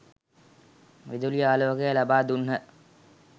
විදුලි ආලෝකය ලබා දුන්හ.